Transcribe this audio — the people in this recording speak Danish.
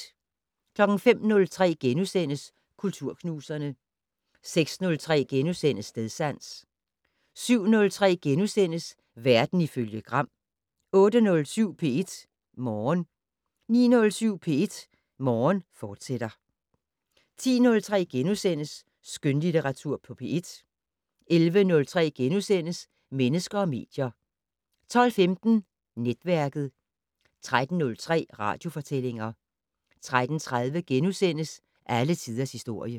05:03: Kulturknuserne * 06:03: Stedsans * 07:03: Verden ifølge Gram * 08:07: P1 Morgen 09:07: P1 Morgen, fortsat 10:03: Skønlitteratur på P1 * 11:03: Mennesker og medier * 12:15: Netværket 13:03: Radiofortællinger 13:30: Alle tiders historie *